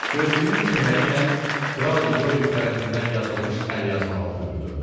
Gözlüyün köməyi ilə Kral Lidovik tərəfindən yazılmış əlyazmanı oxuyurdu.